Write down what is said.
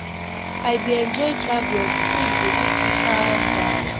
I dey enjoy traveling unto say e dey make me calm down